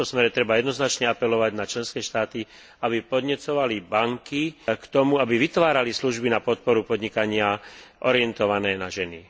V tomto smere treba jednoznačne apelovať na členské štáty, aby podnecovali banky k tomu, aby vytvárali služby na podporu podnikania orientované na ženy.